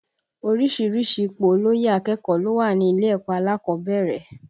Oríṣiríṣi ipò olóyè akẹ́kọ̀ọ́ ló wà ní ilé ẹ̀kọ́ alákọ̀ọ́bẹ̀rẹ̀